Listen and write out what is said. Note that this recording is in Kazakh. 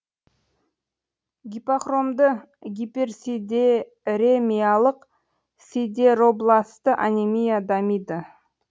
гипохромды гиперсидеремиялық сидеробласты анемия дамиды